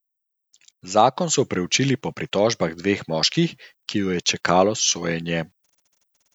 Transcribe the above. Zakon so preučili po pritožbah dveh moških, ki ju je čakalo sojenje.